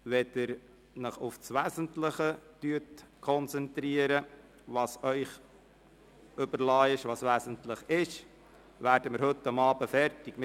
Wenn Sie sich auf das Wesentliche konzentrieren, wobei es Ihnen überlassen ist, was wesentlich ist, werden wir heute Abend fertig werden.